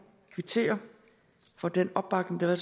kvittere for den opbakning der har